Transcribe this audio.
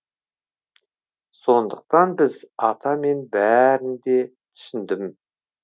сондықтан біз ата мен бәрінде түсіндім